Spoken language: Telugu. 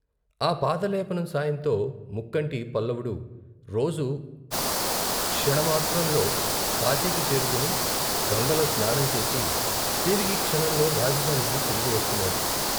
ఆ పాదలేపనం సాయంతో ముక్కంటి పల్లపుడు రోజూ క్షణమాత్రంలో కాశీకి చేరుకుని, గంగలో స్నానం చేసి తిరిగి క్షణంలో రాజధానికి తిరిగి వస్తున్నాడు.